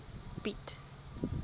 piet